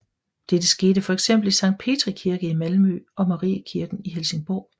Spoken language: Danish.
Dette skete fx i Sankt Petri Kirke i Malmø og i Mariekirken i Helsingborg